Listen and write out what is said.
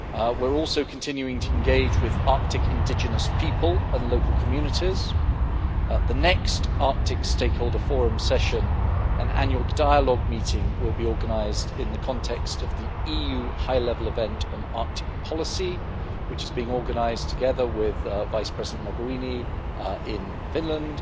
We are also continuing to engage with Arctic indigenous people and local communities. The next Arctic stakeholder forum session and annual dialogue meeting will be organised in the context of the EU high level event on Arctic policy, which is being organised together with Vice President Mogherini in Finland